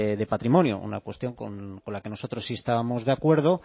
de patrimonio una cuestión con la que nosotros sí estábamos de acuerdo